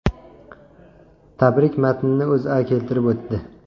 Tabrik matnini O‘zA keltirib o‘tdi .